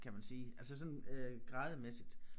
Kan man sige altså sådan øh grade mæssigt